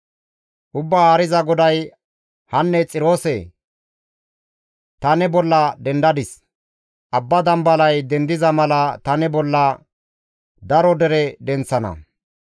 Ubbaa Haariza GODAY: hanne Xiroose ta ne bolla dendadis; abba dambalay dendiza mala ta ne bolla daro dere denththana.